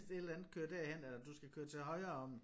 Hvis det et eller andet køre derhen eller du skal køre til højre om